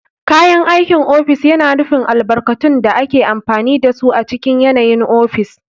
Kayan aikin ofis yana nufin albarkatun da ake amfani da su a cikin yanayin ofis.